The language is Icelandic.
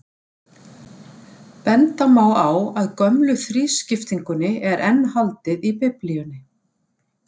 Benda má á að gömlu þrískiptingunni er enn haldið í Biblíunni.